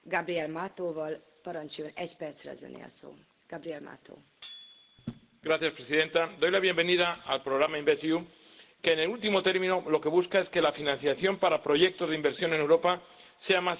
Señora presidenta, doy la bienvenida al programa InvestEU, que en el último término lo que busca es que la financiación para proyectos de inversión en Europa sea más sencilla, eficiente y flexible.